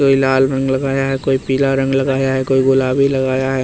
कोई लाल रंग लगाया है कोई पीला रंग लगाया है कोई गुलाबी लगाया है।